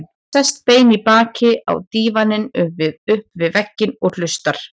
Sest bein í baki á dívaninn upp við vegginn og hlustar.